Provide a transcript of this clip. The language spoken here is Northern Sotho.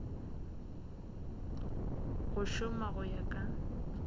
go šoma go ya ka